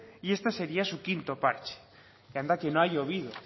y este sería su quinto parche que anda que no ha llovido